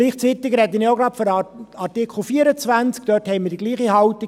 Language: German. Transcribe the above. Gleichzeitig spreche ich auch zu Artikel 24.